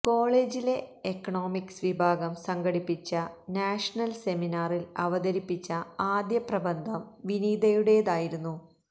കോളജിലെ എക്ണോമിക്സ് വിഭാഗം സംഘടിപ്പിച്ച നാഷണൽ സെമിനാറിൽ അവതരിപ്പിച്ച ആദ്യ പ്രബന്ധം വിനീതയുടേതായിരുന്നു